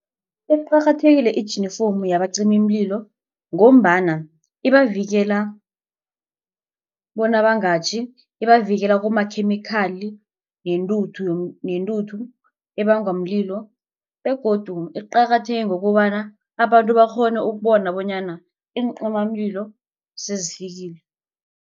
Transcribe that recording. Iqakathekile ijinifomu yabacimimlilo ngombana ibavikela bona bangatjhi. Ibavikela kumakhemikhali nentuthu nentuthu ebangwa mlilo begodu iqakatheke ngokobana abantu bakghone ukubona bonyana iincimamlilo sezifikile.